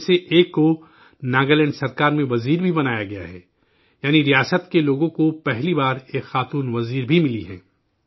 ان میں سے ایک کو ناگالینڈ حکومت میں وزیر بھی بنایا گیا ہے، یعنی ریاست کے لوگوں کو پہلی بار ایک خاتون وزیر بھی ملی ہیں